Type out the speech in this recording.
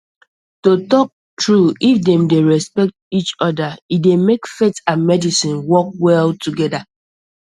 to talk true if dem dey respect each other e dey make faith and medicine work well together